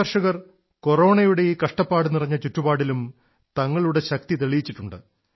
നമ്മുടെ കർഷകർ കൊറോണയുടെ ഈ കഷ്ടപ്പാടുനിറഞ്ഞ ചുറ്റുപാടിലും തങ്ങളുടെ ശക്തി തെളിയിച്ചിട്ടുണ്ട്